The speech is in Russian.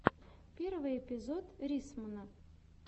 первый эпизод риссмана